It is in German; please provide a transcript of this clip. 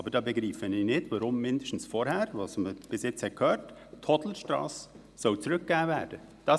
Aber ich verstehe nicht, weswegen zuerst mal die Hodlerstrasse zurückgegeben werden soll.